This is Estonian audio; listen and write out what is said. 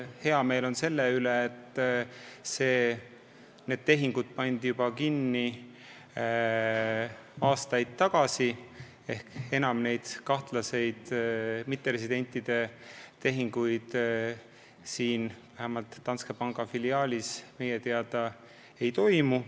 Hea meel on selle üle, et nendele tehingutele tehti lõpp juba aastaid tagasi, enam kahtlaseid mitteresidentide tehinguid vähemalt Danske panga Eesti filiaalis meie teada ei toimu.